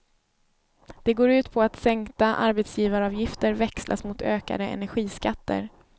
Det går ut på att sänkta arbetsgivaravgifter växlas mot ökade energiskatter.